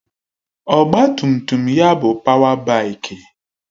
Ọgbatumtum ya bụ páwá báikì